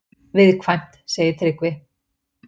Viðkvæmt, segir Tryggvi.